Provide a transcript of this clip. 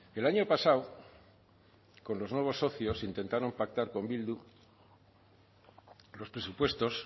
el año pasado con los nuevos socios intentaron pactar con bildu los presupuestos